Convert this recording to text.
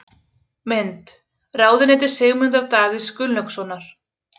Mynd: Ráðuneyti Sigmundar Davíðs Gunnlaugssonar.